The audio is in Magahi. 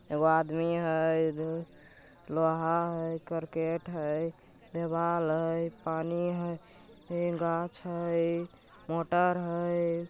एगो आदमी हई लोहा हई करकेट हई देवाल हई पानी हई ए गाछ हई मोटर हई।